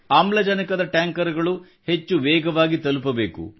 ಆಮ್ಲಜನಕದ ಟ್ಯಾಂಕರ್ ಗಳು ಹೆಚ್ಚು ವೇಗವಾಗಿ ತಲುಪಬೇಕು